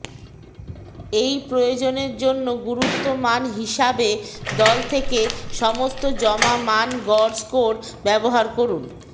এই প্রয়োজনের জন্য গুরুত্ব মান হিসাবে দল থেকে সমস্ত জমা মান গড় স্কোর ব্যবহার করুন